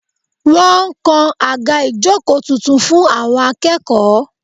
Wọ́n ń kan àga ìjókòó tuntun fún àwọn akẹ́kọ̀ọ́